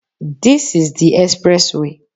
This is the express way